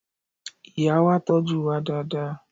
Ìyá wa tọ́jú wa dáadáa.